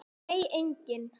Nei, enginn